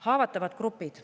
Haavatavad grupid.